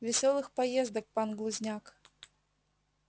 весёлых поездок пан глузняк